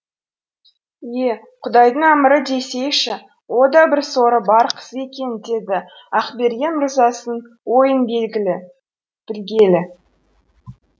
е құдайдың әмірі десейші о да бір соры бар қыз екен деді ақберген мырзасын ойын білгелі